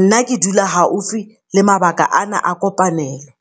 Nna ke dula haufi le mabaka ana a kopanelo.